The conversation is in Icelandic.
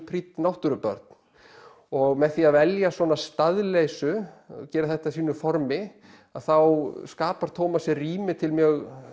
prýdd náttúrubörn og með því að velja svona staðleysu að gera þetta að sínu formi að þá skapar sér rými til mjög